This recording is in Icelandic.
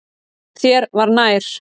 Þér var nær.